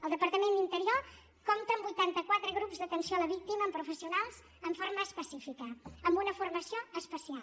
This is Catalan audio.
el departament d’interior compta amb vuitanta quatre grups d’atenció a la víctima amb professionals en forma específica amb una formació especial